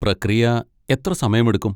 പ്രക്രിയ എത്ര സമയമെടുക്കും?